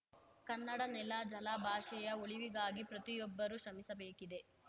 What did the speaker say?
ಕನ್ನಡ ನೆಲ ಜಲ ಭಾಷೆಯ ಉಳಿವಿಗಾಗಿ ಪ್ರತಿಯೊಬ್ಬರೂ ಶ್ರಮಿಸಬೇಕಿದೆ